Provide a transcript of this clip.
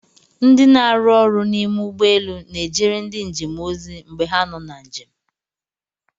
Ndị na-arụ ọrụ n'ime ụgbọelu n'ejere ndị njem ozi mgbe ha nọ na njem.